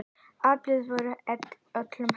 Aðild var öllum heimil.